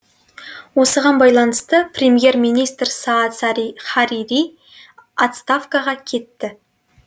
осыған байланысты премьер министр саад харири отставкаға кетті